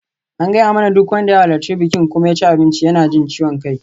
An gaya mana duk wanda ya halarci bikin kuma ya ci abinci yana jin ciwon ciki.